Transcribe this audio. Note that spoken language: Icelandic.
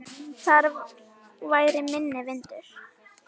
Þar væri minni vindur.